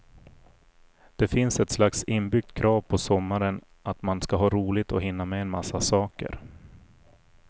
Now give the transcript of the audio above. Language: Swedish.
Det finns ett slags inbyggt krav på sommaren att man ska ha roligt och hinna med en massa saker.